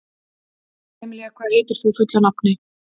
Emelía, hvað heitir þú fullu nafni?